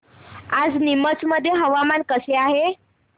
आज नीमच मध्ये हवामान कसे आहे